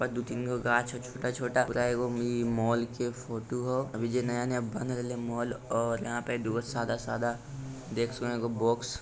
दो तीन कांच है छोटा -छोटा ये मॉल का फोटो है अभी ये नया नया बन रहा है मॉल और यहाँ पे दुगो सादा-सादा देख सकते है बोक्स --